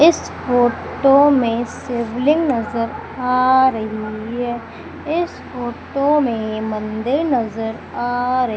इस फोटो में शिवलिंग नजर आ रही है इस फोटो में मंदिर नजर आ र--